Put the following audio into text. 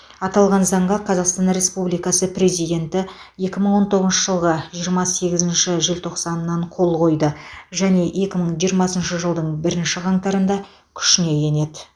аталған заңға қазақстан республикасы президенті екі мың он тоғызыншы жылғы жиырма сегізінші желтоқсаннаң қол қойды және екі мың жиырмасыншы жылдың бірінші қаңтарында күшіне енеді